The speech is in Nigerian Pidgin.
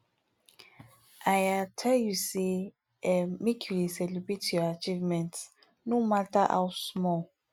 i um tell you sey um make you dey celebrate your achievements no mata how small